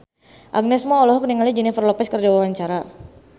Agnes Mo olohok ningali Jennifer Lopez keur diwawancara